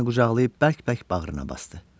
O məni qucaqlayıb bərk-bərk bağrına basdı.